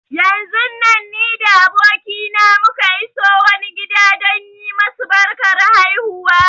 Yanzun nan ni da abokina muka iso wani gida don yi masu barkar haihuwa.